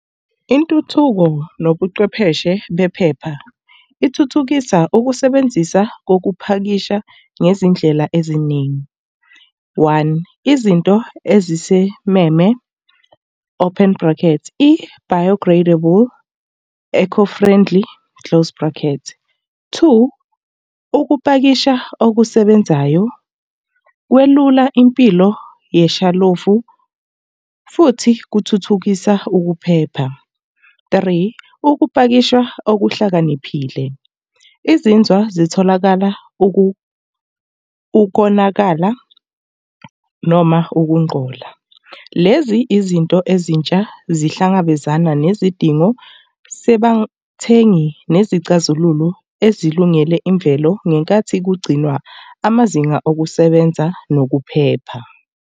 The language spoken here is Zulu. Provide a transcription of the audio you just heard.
Intuthuko nobuchwepheshe bephepha ithuthukisa ukusebenzisa kokuphakisha ngezindlela eziningi. One, izinto ezisimeme, open bracket, i-biogradable, eco-friendly, close bracket. Two, ukupakisha okusebenzayo kwelula impilo yeshalofu, futhi kuthuthukisa ukuphepha. Three, ukupakisha okuhlakaniphile. Izinzwa zitholakala ukonakala noma ukungqola. Lezi izinto ezintsha zihlangabezana nezidingo, sebathengi nezicazelo ezilungele imvelo ngenkathi kugcinwa amazinga okusebenza nokuphepha.